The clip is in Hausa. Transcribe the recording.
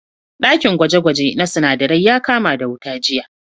Ɗakin gwaje-gwaje na sinadarai ya kama da wuta jiya.